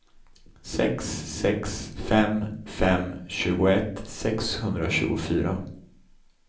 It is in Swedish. sex sex fem fem tjugoett sexhundratjugofyra